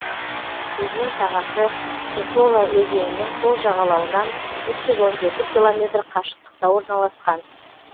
өзен сағасы сысола өзенінің сол жағалауынан үш жүз он жеті километр қашықтықта орналасқан